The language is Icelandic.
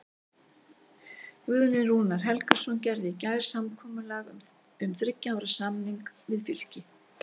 Guðni Rúnar Helgason gerði í gær samkomulag um þriggja ára samning við Fylki.